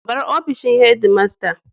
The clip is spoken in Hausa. Bar ofishin headmaster.